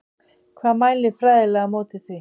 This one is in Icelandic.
Hvað mælir fræðilega á móti því?